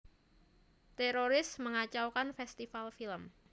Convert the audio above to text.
Teroris mengacaukan festival film